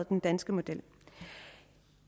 den danske model